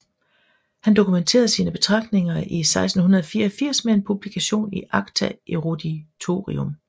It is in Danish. Han dokumenterede sine betragtninger i 1684 med en publikation i acta eruditorium